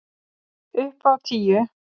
Upp á tíu!